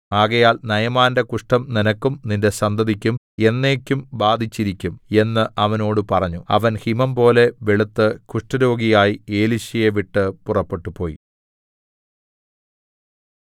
ആകയാൽ നയമാന്റെ കുഷ്ഠം നിനക്കും നിന്റെ സന്തതിക്കും എന്നേക്കും ബാധിച്ചിരിക്കും എന്ന് അവനോട് പറഞ്ഞു അവൻ ഹിമംപോലെ വെളുത്ത് കുഷ്ഠരോഗിയായി എലീശയെ വിട്ട് പുറപ്പെട്ടുപോയി